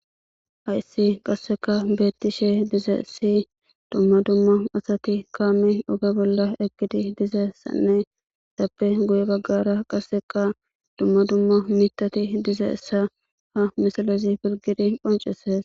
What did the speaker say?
hayssi qasseka beetti she diza essi dumma dumma asati kaame dhoga bolla egidi dizayssanne tappe guye baggara qasseka dumma dumma mitati diza essa ha misalozi pirgidi qonceses